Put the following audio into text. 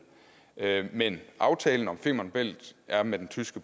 men aftalen om femern bælt er med den tyske